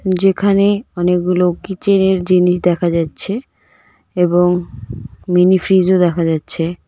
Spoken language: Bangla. যেখানে অনেকগুলো কিচেনের জিনিস দেখা যাচ্ছে এবং মিনিফ্রিজও দেখা যাচ্ছে.